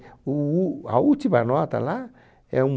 O úl a última nota lá é um